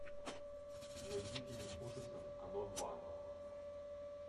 найди фильм ужасов оно два